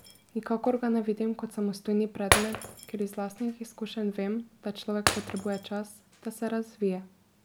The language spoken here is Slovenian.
Nikakor ga ne vidim kot samostojni predmet, ker iz lastnih izkušenj vem, da človek potrebuje čas, da se razvije.